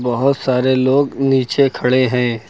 बहुत सारे लोग नीचे खड़े हैं।